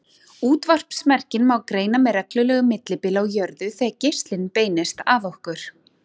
Útvarpsmerkin má greina með reglulegu millibili á jörðu þegar geislinn beinist að okkur.